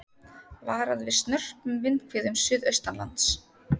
Varað við snörpum vindhviðum suðaustanlands